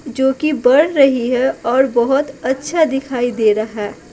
जो कि बढ़ रही है और बहुत अच्छा दिखाई दे रहा है।